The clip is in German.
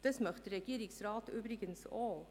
Das möchte der Regierungsrat übrigens auch.